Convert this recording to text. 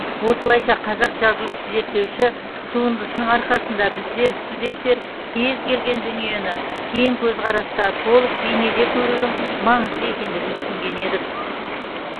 осылайша қазақ жазушы зерттеуші туындысының арқасында біздер студенттер кез келген дүниені кең көзқараста толық бейнеде көрудің маңызды екендігін түсінген едік